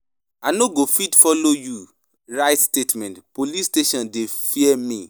I no follow, I no follow na moni for police station.